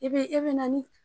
E be e be na ni